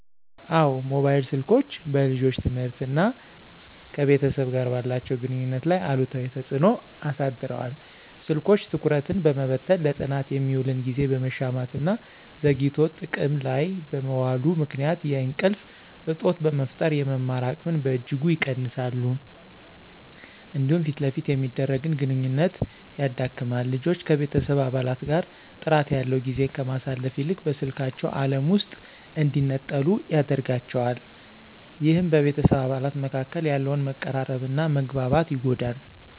አዎ፣ ሞባይል ስልኮች በልጆች ትምህርትና ከቤተሰብ ጋር ባላቸው ግንኙነት ላይ አሉታዊ ተጽዕኖ አሳድረዋል። ስልኮች ትኩረትን በመበተን፣ ለጥናት የሚውልን ጊዜ በመሻማትና ዘግይቶ ጥቅም ላይ በመዋሉ ምክንያት የእንቅልፍ እጦት በመፍጠር የመማር አቅምን በእጅጉ ይቀንሳሉ። እንዲሁም ፊት ለፊት የሚደረግን ግንኙነት ያዳክማል። ልጆች ከቤተሰብ አባላት ጋር ጥራት ያለው ጊዜን ከማሳለፍ ይልቅ በስልካቸው ዓለም ውስጥ እንዲነጠሉ ያደርጋቸዋል። ይህም በቤተሰብ አባላት መካከል ያለውን መቀራረብና መግባባት ይጎዳል።